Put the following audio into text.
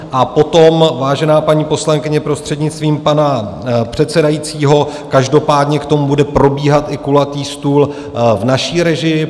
A potom vážená paní poslankyně, prostřednictvím pana předsedajícího, každopádně k tomu bude probíhat i kulatý stůl v naší režii.